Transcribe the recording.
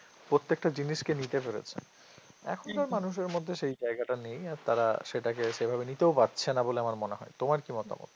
প্রত্যেকটা জিনিসকে নিতে পেরেছে এখনকার মানুষের মধ্যে সেই জায়গাটা নেই আর তারা সেটাকে সেভাবে নিতেও পারছে না বলে আমার মনে হয় তোমার কি মতামত